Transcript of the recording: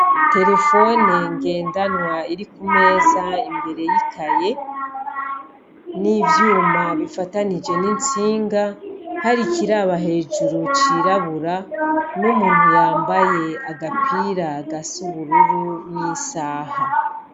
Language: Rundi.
Terefone ngendanwa iri ku meza imbere y'ikaye, n'ivyuma bifatanije n'intsinga hari ikiraba hejuru cirabura, n'umuntu yambaye agapira gasa ubururu n'isaha.